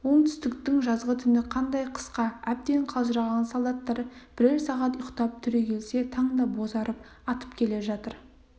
оңтүстіктің жазғы түні қандай қысқа әбден қалжыраған солдаттар бірер сағат ұйықтап түрегелсе таң да бозарып атып келе жатыр